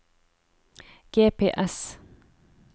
GPS